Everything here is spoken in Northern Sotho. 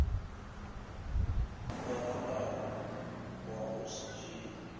kwagalago wa go se tšeye